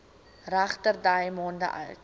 regterdy maande oud